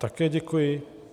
Také děkuji.